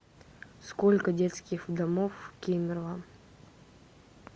сколько детских домов в кемерово